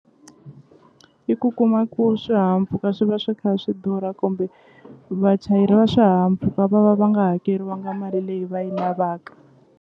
I ku kuma ku swihahampfhuka swi va swi kha swi durha kumbe vachayeri va swihahampfhuka va va va nga hakeriwanga mali leyi va yi lavaka.